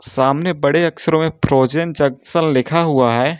सामने बड़े अक्षरों में फ्रोजन जंक्शन लिखा हुआ है।